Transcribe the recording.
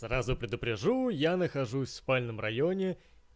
сразу предупрежу я нахожусь в спальном районе